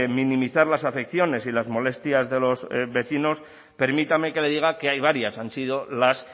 minimizar las afecciones y las molestias de los vecinos permítame que le diga que hay varias han sido las